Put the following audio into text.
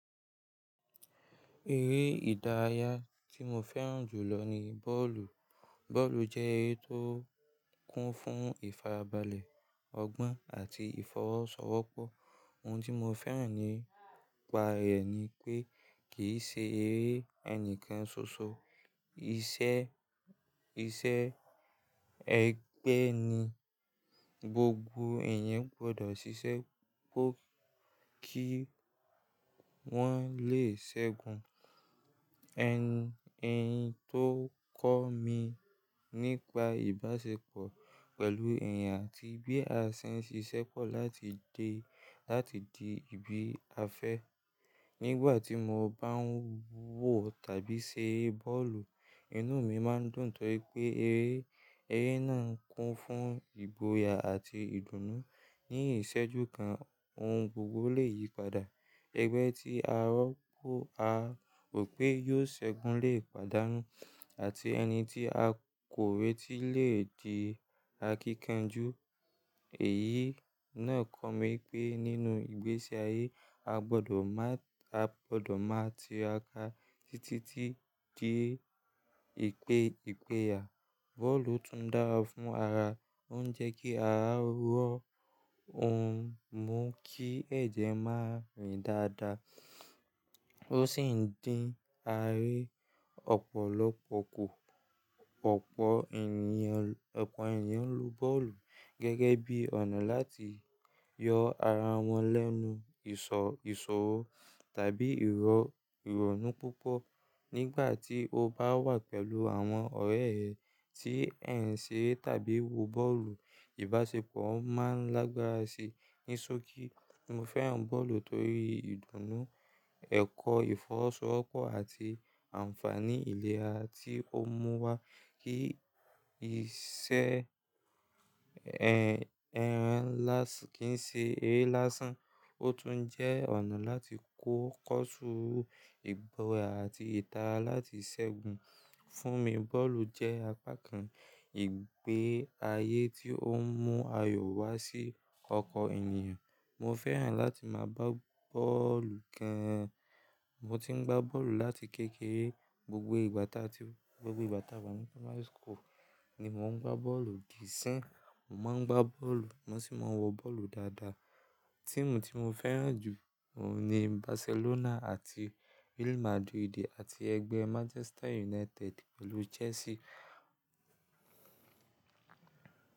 Eré ìdárayá tí mo fẹ́ràn jù lọ ni bọ́ọ̀lù. Bọ́ọ̀lù jẹ́ eré tó kún fún ìfarabalẹ̀ ọgbọ́n àti ìfọwọ́sowọ́pọ́. Ohun tí mo fẹ́ràn nípa rẹ̀ ni pé kì í ṣe eré ẹni kan ṣoṣo. Iṣẹ́, iṣẹ́ ẹgbẹ́ ni, gbogbo èèyàn gbọdọ̀ ṣiṣẹ́ kó kí wọ́n lè ṣẹ́gun. Ẹ̀n, ẹ̀yin tó kọ́ mi nípa ìbáṣepọ̀ pẹ̀lú èèyàn àti bí a ṣe n ṣiṣẹ́ pọ̀ láti di, láti di ìbí afẹ́. Nígbà tí mo bá ń wò tàbí ṣe bọ́ọ̀lù, inú mi máa ń dùn tọ̀ je pé eré, eré náà ń kún fún ìgboyà àti ìdùnnú. Ní ìṣẹ́jú kan, ohun gbogbo lè yípadà. Ẹgbẹ́ tí a rò pé yóò ṣẹ́gun lè pàdánù, àti ẹni tí a kò rètí lè di akíkanjú. Èyí náà kọ́ mi pé nínú ìgbésí ayé, a gbọdọ̀ máa, a gbọdọ̀ máa ti ra ká títí di ìpé, ìpé àyà. Bọ́ọ̀lù tún dára fún ara. Ó ń jẹ́ kí ara wọ́, ó ń mú kí ẹ̀jẹ̀ má rìn dáadáa, ó sì ń dín àárín ọ̀pọ̀lọpọ̀ kù. Ọ̀pọ̀ ènìyàn, ọ̀pọ̀ ènìyàn ń lò bọ́ọ̀lù gẹ́gẹ́ bí ọ̀nà láti yọ ara wọn lẹ́nu ìṣọ, ìṣòro tàbí ìrọ̀, ìrònú púpọ̀. Nígbà tí o bá wà pẹ̀lú àwọn ọ̀rẹ́ ẹ tí ẹ̀ ń ṣe tàbí wo bọ́ọ̀lù, ìbáṣepọ̀ máa n lágbára si. Ní sókí, mo fẹ́ràn bọ́ọ̀lù torí ìdùnnú, ẹ̀kọ́ ìfọwọ́sowọ́pọ̀ àti ànfàní ìlera tí ó mú wá. Kí iṣẹ́ ẹ́, ẹran lásán, kì í ṣe eré lásán. Ó tún jẹ́ ọ̀nà láti kó kọ́ṣúru, ìgboyà àti ìtara láti ṣẹ́gun. Fún mi, bọ́ọ̀lù jẹ́ apá kan ìgbé ayé tí ó mú ayọ̀ wá sí ọkan ènìyàn. Mo fẹ́ràn láti máa gbá bọ́ọ̀lù gan an. Mo ti ń gbá bọ́ọ̀lù láti kékeré. Gbogbo ìgbà tá, gbogbo ìgbà tá wà ní Primary School ni mo ń gbá bọ́ọ̀lù dí isin. Mo máa ń gbá bọ́ọ̀lù, mo sì máa ń wo bọ́ọ̀lù dáadáa. Tíìmù tí mo fẹ́ràn jù ní Barcelona àti Real Madrid àti ẹgbẹ́ Manchester United pẹ̀lú Chelsea.